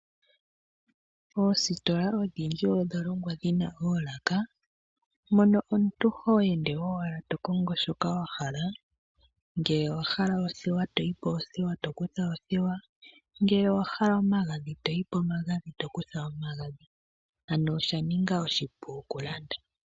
Oositola odhindji odha longwa dhi na oolaka, mono omuntu ho ende owala to kongo shoka wa hala, ngele owa hala oothewa to yi poothewa to kutha oothewa, ngele owa hala omagadhi to yi pomagadhi to kutha omagadhi. Ano osha ninga oshipu okulanda.